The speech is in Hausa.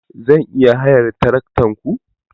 Zan iya hayar tarakta ku?